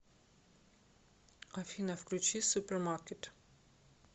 афина включи супермаркет